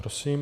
Prosím.